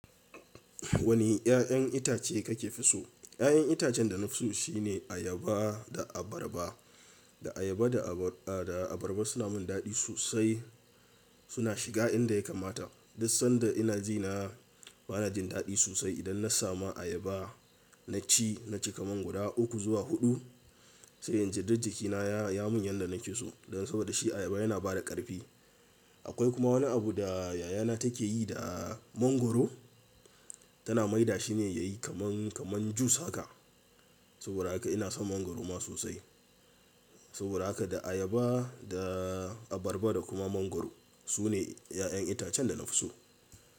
Wane 'ya'yan itace kake fi so? 'Ya'yan itacen da na so shine ayaba da abarba. Da ayaba da abarba suna mun dadi sosai. Suna shiga inda ya kamata. Duk sanda ina ji na-- bana jin dadi sosai idan na samu ayaba na ci, na ci kaman guda uku zuwa huɗu. Sai inji duk jikina ya mun yanda nake so. Dan saboda shi ayaba yana bada ƙarfi. Akwai kuma wani abu da yayana take yi da mangwaro. Tana maida shi ne yayi kaman, kaman jus haka. Saboda haka ina son mangwaro ma sosai. Saboda haka da ayaba, da abarba da kuma mangwaro sune 'ya'yan itacen da na so.